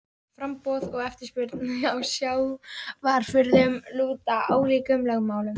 Framboð og eftirspurn á sjávarafurðum lúta ólíkum lögmálum.